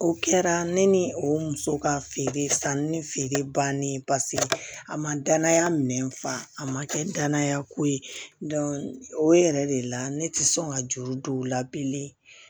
O kɛra ne ni o muso ka feere sanni ni feere bannen paseke a ma danaya minɛn fan a ma kɛ danaya ko ye o yɛrɛ de la ne tɛ sɔn ka juru don u la bilen